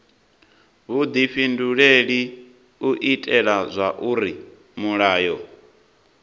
vhudifhinduleli u itela zwauri mulayo